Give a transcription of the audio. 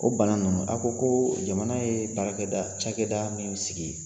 O bana ninnu a' ko ko jamana ye baarakɛda cakɛda min sigi